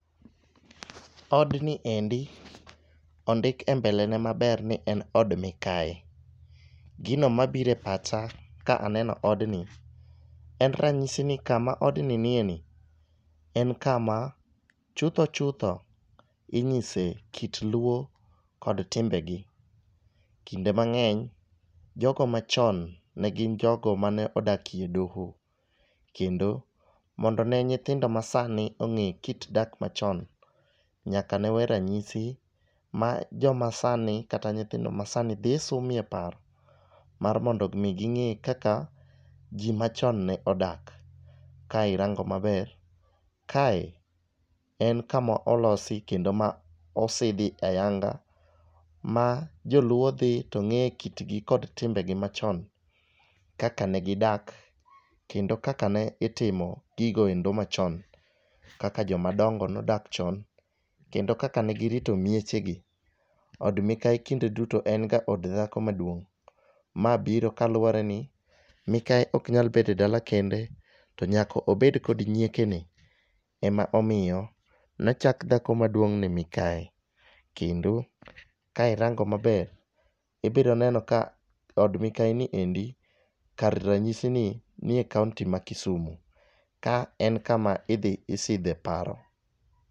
Odni endi ondik e mbele ne maber ni en od mikayi . Gino mabire pacha kaneno odni en ranyisi ni kama odni nie ni en kama chutho chutho inyise kit luo kod timbegi. Kinde mang'eny , jogo machon ne gin jogo mane odakie doho kendo mondo ne nyithindo masani ong'e kit dak machon, nyaka ne we ranyisi ma joma sani kata nyithindo masani dhi sumie paro mar mondo mi ging'e kaka jii machon ne odak. Ka irango maber kae en kama oloso kendo ma osidhi ayanga ma joluo dhi to ng'e kitgi kod timbegi machon kaka ne gidaka kendo kaka ne itimo gigo endo machon kaka joma dongo nodak chon, kendo kaka ne girito miechegi od mikayi kinde duto en ga od dhako maduong' .Ma biro kaluwore ni mikayi ok nyal bede dala kende to nyako obed kod nyieke ni emomiyo nochak dhako maduong' ni mikayi .Kendo ka irango maber ibiro rango ka od mikayi ni endi kar ranyisi ni nie kaunti ma kisumu ka en kama idhi isidhe paro.